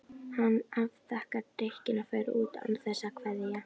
Hann afþakkar drykkinn og fer út án þess að kveðja.